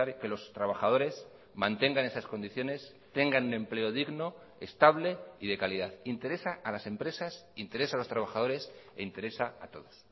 que los trabajadores mantengan esas condiciones tengan un empleo digno estable y de calidad interesa a las empresas interesa a los trabajadores interesa a todos